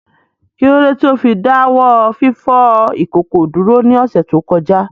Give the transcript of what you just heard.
Kí ló dé tí ó fi dá wọ́ fífọ ìkòkò dúró ní ọ̀sẹ̀ tó kọjá?